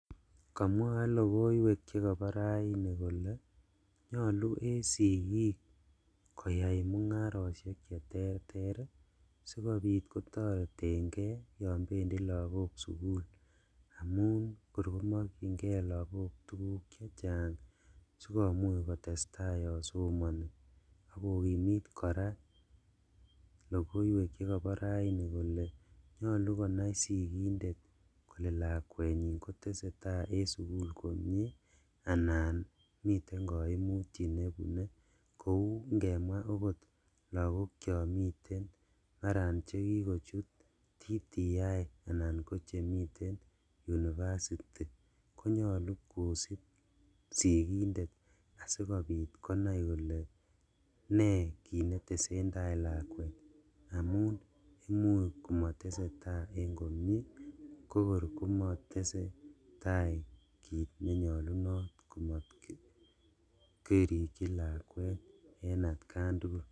Komwoe logoiwek chekobo raini kole nyolu en sigik koyai mungaroshek cheterter sikobit kotoretengee yon bendi lagok sugul amun kor komokchingee lagok tuguk chechang sikomuch kotestaa yon somoni, ak kokimit koraa logoiwek chekobo raini kole nyolu konai sikindet kole lakwenyin kotesetaa en sugul anan miten koimutyet nebune kou ingemwaa okot kou lagok chon miten maran chekikochut TTI anan kochemiten University konyolu kosib sikindet asikobit konai kole nekit neteseindaa lakwet amun imuch komotesetaa en komie kokor komotesetaa kit nenyolunot kot ko mokirikji lakwet en atkan tugul.